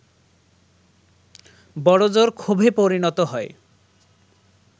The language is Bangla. বড় জোর ক্ষোভে পরিণত হয়